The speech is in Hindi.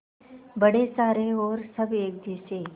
बड़े सारे और सब एक जैसे